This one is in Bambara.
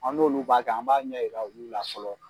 An n'olu b'a kɛ an b'a ɲɛ yira olu la fɔlɔ.